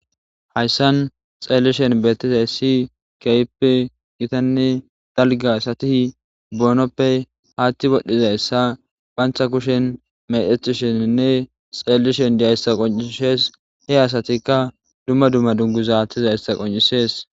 hayssan xeellishen beettizay si keype gitanne dalga sati boonoppe haatti wodhdhizayssa phantha kushen medethisheninne xeellishen diyayssa qoncishes he asatikka dumma dumma dunguza haattiza yssa qoncisees